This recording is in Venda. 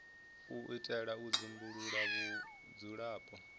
u itela u dzumbulula vhudzulapo